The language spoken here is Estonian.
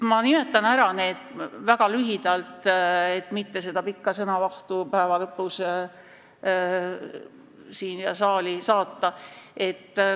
Ma nimetan neid väga lühidalt, et mitte päeva lõpus saalis suurt sõnavahtu tekitada.